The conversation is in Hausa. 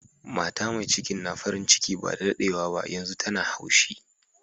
Mata mai cikin na farin ciki ba da daddewa ba, yanzun tana haushi.